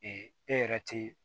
e yɛrɛ te